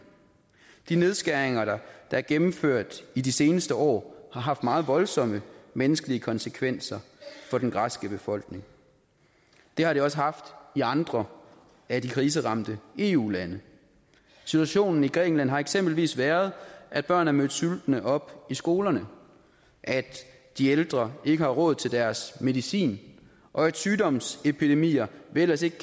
de nedskæringer der er gennemført i de seneste år har haft meget voldsomme menneskelige konsekvenser for den græske befolkning det har de også haft i andre af de kriseramte eu lande situationen i grækenland har eksempelvis været at børn er mødt sultne op i skolerne at de ældre ikke har råd til deres medicin og at sygdomsepidemier vi ellers ikke